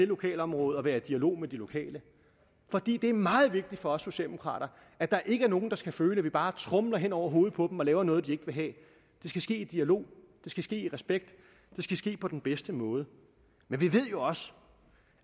lokalområde og være i dialog med de lokale for det det er meget vigtigt for os socialdemokrater at der ikke er nogen der skal føle at vi bare tromler hen over hovedet på dem og laver noget de ikke vil have det skal ske i dialog det skal ske i respekt det skal ske på den bedste måde men vi ved jo også